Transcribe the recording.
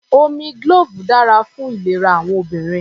Omi glove dára fún ìlera àwọn obìnrin.